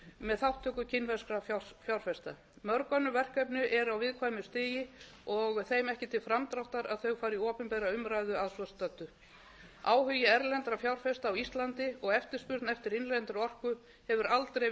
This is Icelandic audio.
með þátttöku kínverskra fjárfesta mörg önnur verkefni eru á viðkvæmu stigi og þeim ekki til framdráttar að þau fari í opinbera umræðu að svo stöddu áhugi erlendra fjárfesta á íslandi og eftirspurn eftir innlendri orku hefur aldrei verið